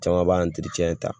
Caman b'a ta